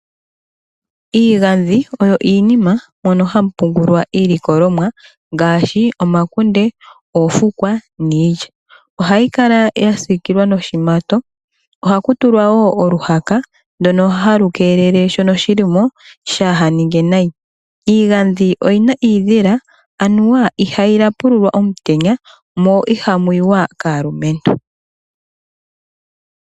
Iigandhi oyo iinima mono hamu pungulwa iilikolomwa ngaashi omakunde, oofukwa niilya. Ohayi kala ya siikilwa noshimato. Ohaku tulwa wo oluhaka ndoka halu keelele shono shi li shaa ha ninge nayi. Iigandhi oyi na iidhila anuwa ihayi tapululwa omutenya mo ihamu yiwa kaalumentu.